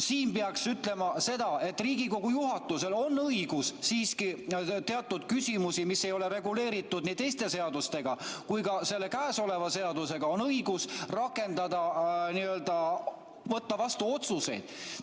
Siin peaks ütlema seda, et Riigikogu juhatusel on õigus siiski teatud küsimusi, mis ei ole reguleeritud teiste seadustega ega ka käesoleva seadusega, rakendada, n‑ö võtta vastu otsuseid.